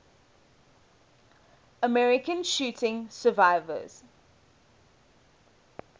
american shooting survivors